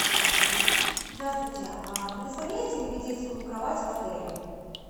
здравствуйте а предоставляете ли вы детскую кровать в отеле